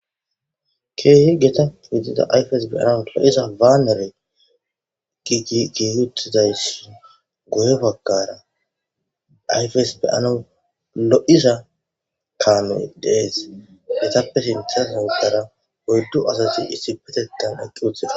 keehe geta ixida ayfes beyana lo7iza waanere giigiyuttidayssin goye bagkara ayfes beyana lo7iza kaamoy dees getappe sinthasa uddara woyddu asati issi petettan ekki uthida